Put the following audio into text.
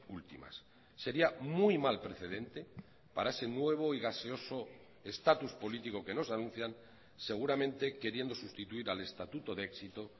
últimas sería muy mal precedente para ese nuevo y gaseoso estatus político que nos anuncian seguramente queriendo sustituir al estatuto de éxito